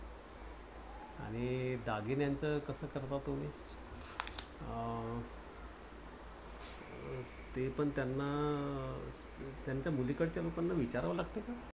आणि दागिन्याच कसं करता तुम्ही? अं ते पण त्यांना अं त्यांच्या मुलीकडच्या लोकांना विचारावं लागत का?